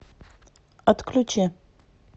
отключи